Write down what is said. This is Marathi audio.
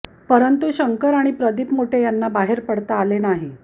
परंतू शंकर आणि प्रदीप मोटे यांना बाहेर पडता आले नाही